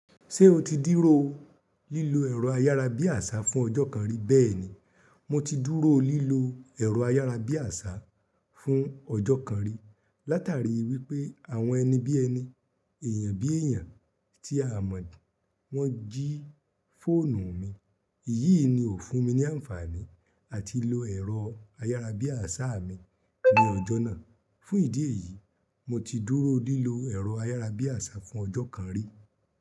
Ṣé o ti dúró lílo ẹ̀rọ ayárabíàṣá fún ọjọ́ kan rí bẹ́ẹ̀ni, mo ti dúró lílo ẹ̀rọ ayárabíàṣá fún ọjọ́ kan rí, látàrí wípé àwọn ẹni bí ẹni, èèyàn bí èèyàn tí a mọ̀ wọ́n jí fóònù mi. Èyí ni ò fún mi ní àǹfààní àti lo ẹ̀rọ ayárabíàṣá mi ní ọjọ́ náà. Fún ìdí èyí, mo ti dúró lílo ẹ̀rọ ayárabíàṣá fún ọjọ́ kan rí.